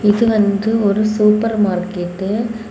இது வந்து ஒரு சூப்பர் மார்க்கெட்டு .